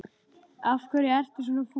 Af hverju ertu svona fúll?